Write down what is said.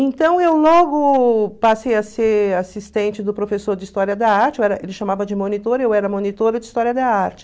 Então, eu logo passei a ser assistente do professor de História da Arte, eu era ele chamava de monitor, eu era monitora de História da Arte.